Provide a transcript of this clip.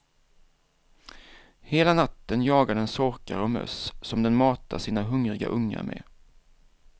Hela natten jagar den sorkar och möss som den matar sina hungriga ungar med.